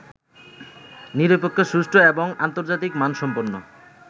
নিরপেক্ষ, সুষ্ঠু এবং আন্তর্জাতিক মানসম্পন্ন